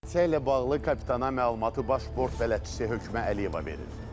ilə bağlı kapitana məlumatı Baş bələdçisi Hökümə Əliyeva verir.